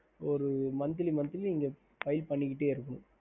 ஹம்